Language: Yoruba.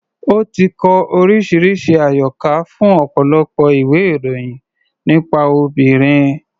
Ó ti kọ oríṣiríṣi àyọkà fún ọ̀pọ̀lọpọ̀ ìwé-ìròyìn nípa obìnrin.